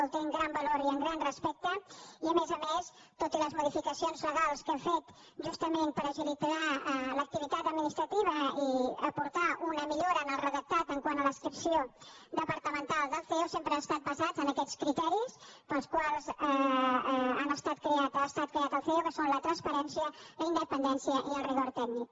el té en gran valor i en gran respecte i a més a més tot i les modificacions legals que hem fet justament per agilitzar l’activitat administrativa i aportar una millora en el redactat quant a l’adscripció departamental del ceo sempre han estat basades en aquests criteris pels quals ha estat creat el ceo que són la transparència la independència i el rigor tècnic